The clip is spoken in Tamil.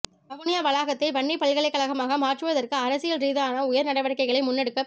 வவுனியா வளாகத்தை வன்னிப்பல்கலைக்கழகமாக மாற்றுவதற்கு அரசியல் ரீதியான உயர் நடவடிக்கைகள் முன்னெடுக்கப்ப